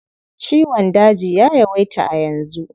Ciwon daji ya yawaita a yanzu.